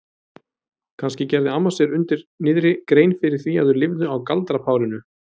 Kannski gerði amma sér undir niðri grein fyrir því að þau lifðu á galdrapárinu?